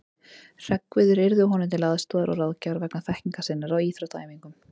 Hreggviður yrði honum til aðstoðar og ráðgjafar vegna þekkingar sinnar á íþróttaæfingum.